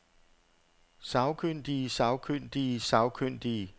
sagkyndige sagkyndige sagkyndige